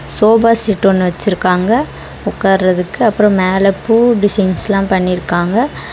Sofa set ஒன்னு வச்சிருக்காங்க உக்காரத்துக்கு அப்றோ மேல பூ டிசைன்ஸ்ல பண்ணிருக்காங்க.